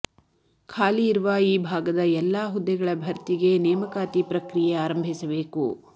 ಖಾಲಿ ಇರುವ ಈ ಭಾಗದ ಎಲ್ಲಾ ಹುದ್ದೆಗಳ ಭರ್ತಿಗೆ ನೇಮಕಾತಿ ಪ್ರಕ್ರಿಯೆ ಆರಂಭಿಸಬೇಕು